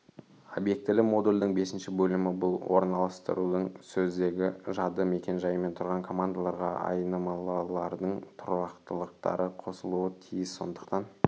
обьектілі модульдің бесінші бөлімі бұл орналастырудың сөздігі жады мекен-жайымен тұрған командаларға айнымылылардың тұрақтылары қосылуы тиіс сондықтан